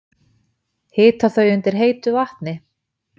Hita þau undir heitu vatni?